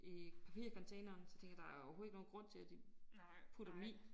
I papircontaineren så tænkte jeg der jo overhovedet ikke noget grund til at de putter dem i